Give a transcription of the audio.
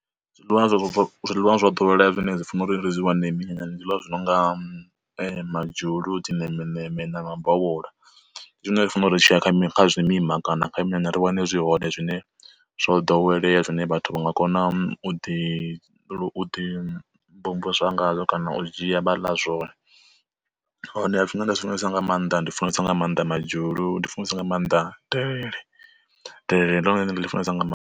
Zwiḽiwa zwo zwiḽiwa zwa ḓowelea zwine zwi funa uri ri zwi wane minyanyani ndi zwiḽiwa zwi no nga madzhulu dzi nemeneme na ma bovhola, zwine zwi funa uri tshiya kha mini kha zwimima kana kha minyanya ri wane zwi hoṋe zwine zwo ḓowelea zwine vhathu vha nga kona u ḓi u ḓi mvumvusa ngazwo kana u dzhia vha ḽa zwone. Hone zwine nda zwi funesa nga maanḓa ndi funesa nga maanḓa madzhulu ndi funesa nga maanḓa delele, delele ndi ḽone ndi ḽi funesa nga maanḓa.